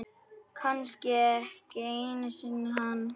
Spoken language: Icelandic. Kannski ekki einu sinni hann.